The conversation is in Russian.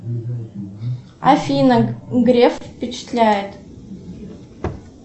афина греф впечатляет